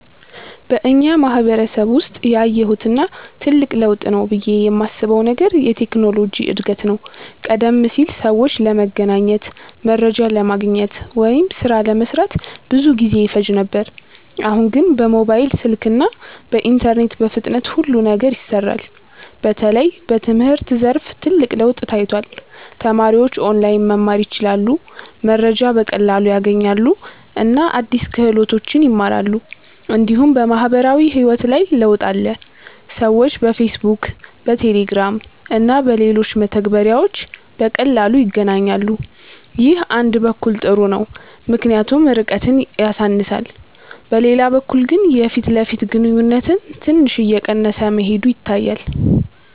በእኛ ማህበረሰብ ውስጥ ያየሁት እና ትልቅ ለውጥ ነው ብዬ የማስበው ነገር የቴክኖሎጂ እድገት ነው። ቀደም ሲል ሰዎች ለመገናኘት፣ መረጃ ለማግኘት ወይም ሥራ ለመስራት ብዙ ጊዜ ይፈጅ ነበር። አሁን ግን በሞባይል ስልክ እና በኢንተርኔት በፍጥነት ሁሉ ነገር ይሰራል። በተለይ በትምህርት ዘርፍ ትልቅ ለውጥ ታይቷል። ተማሪዎች ኦንላይን መማር ይችላሉ፣ መረጃ በቀላሉ ያገኛሉ እና አዲስ ክህሎቶችን ይማራሉ። እንዲሁም በማህበራዊ ህይወት ላይ ለውጥ አለ። ሰዎች በፌስቡክ፣ በቴሌግራም እና በሌሎች መተግበሪያዎች በቀላሉ ይገናኛሉ። ይህ አንድ በኩል ጥሩ ነው ምክንያቱም ርቀትን ያሳንሳል፤ በሌላ በኩል ግን የፊት ለፊት ግንኙነት ትንሽ እየቀነሰ መሄዱ ይታያል።